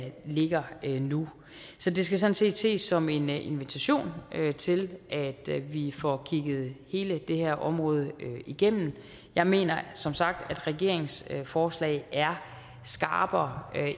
ligger nu så det skal sådan set ses som en invitation til at vi får kigget hele det her område igennem jeg mener som sagt at regeringens forslag er skarpere